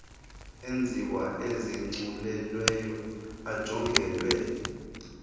enziwa izigculelo ajongelwe